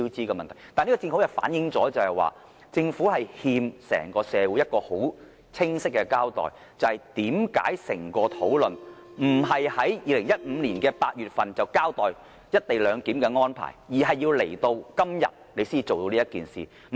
但是，這正好反映政府欠整個社會一個清晰交代，即為甚麼整個討論並非在2015年8月便交代"一地兩檢"安排，而是直至今天才提出這個方案？